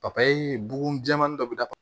Papaye bugun jɛmani dɔ bɛ da